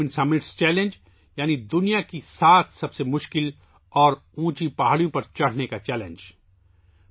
seven summits challenge یعنی دنیا کی سات سب سے مشکل اور بلند پہاڑیوں پر چڑھنے کا چیلنج